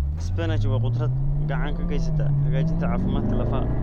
Spinachi waa khudrad gacan ka geysata hagaajinta caafimaadka lafaha.